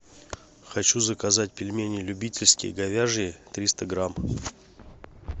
хочу заказать пельмени любительские говяжьи триста грамм